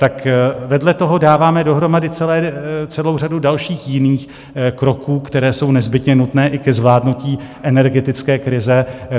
Tak vedle toho dáváme dohromady celou řadu dalších jiných kroků, které jsou nezbytně nutné i ke zvládnutí energetické krize.